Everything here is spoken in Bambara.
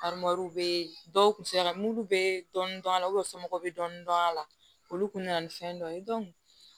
bɛ dɔw kun sera mulu bɛ dɔɔnin dɔɔnin a la somɔgɔw bɛ dɔni dɔni a la olu kun nana ni fɛn dɔ ye